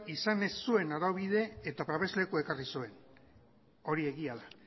izan ez zuen araubide eta babeslekua ekarri zuen hori egia da